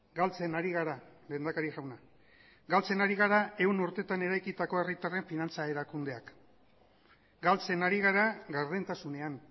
galtzen ari gara lehendakari jauna galtzen ari gara ehun urtetan eraikitako herritarren finantza erakundeak galtzen ari gara gardentasunean